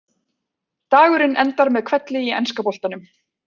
Dagurinn endar með hvelli í enska boltanum.